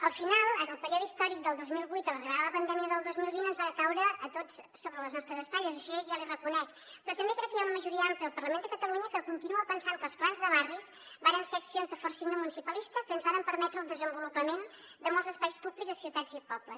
al final el període històric del dos mil vuit a l’arribada de la pandèmia del dos mil vint ens va caure a tots sobre les nostres espatlles això ja l’hi reconec però també crec que hi ha una majoria àmplia al parlament de catalunya que continua pensant que els plans de barris varen ser accions de fort signe municipalista que ens varen permetre el desenvolupament de molts espais públics a ciutats i pobles